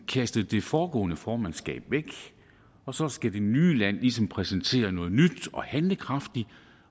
kastet det foregående formandskab væk og så skal det nye land ligesom præsentere noget nyt og handlekraftigt